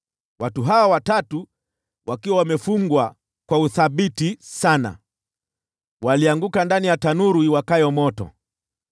Watu hawa watatu walianguka ndani ya tanuru iwakayo moto wakiwa wamefungwa kwa uthabiti sana.